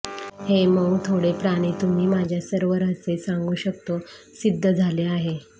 हे मऊ थोडे प्राणी तुम्ही माझ्या सर्व रहस्ये सांगू शकतो सिद्ध झाले आहे